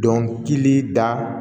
Dɔnkili da